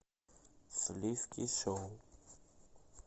сливки шоу